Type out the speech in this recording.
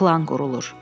Plan qurulur.